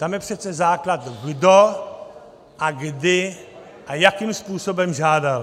Tam je přece základ, kdo a kdy a jakým způsobem žádal.